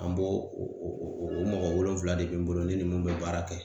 An bo o mɔgɔ wolonfila de bɛ n bolo ne ni mun bɛ baara kɛ.